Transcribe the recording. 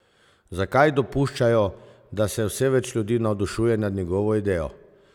Zakaj dopuščajo, da se vse več ljudi navdušuje nad njegovo idejo?